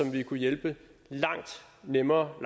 vi kunne hjælpe langt nemmere